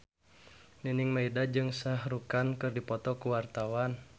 Nining Meida jeung Shah Rukh Khan keur dipoto ku wartawan